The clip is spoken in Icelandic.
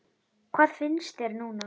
Hvað finnst þér núna?